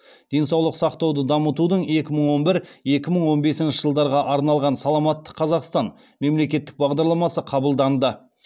денсаулық сақтауды дамытудың екі мың он бір екі мың он бесінші жылдарға арналған саламатты қазақстан мемлекеттік бағдарламасы қабылданды